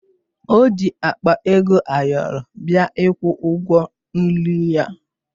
O ji akpa ego ayọrọ bịa ịkwụ ụgwọ nri ya